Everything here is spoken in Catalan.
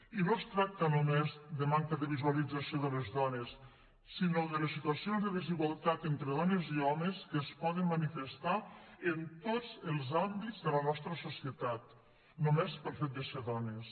i no es tracta només de manca de visualització de les dones sinó de les situacions de desigualtat entre dones i homes que es poden manifestar en tots els àmbits de la nostra societat només pel fet de ser dones